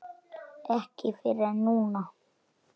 Ekki fyrr en núna.